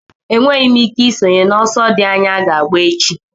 Agaghị m enwe ike isonye n'ọsọ dị anya aga agba echi